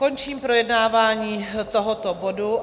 Končím projednávání tohoto bodu.